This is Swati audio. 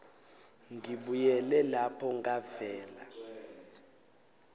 ngibuyele lapho ngavela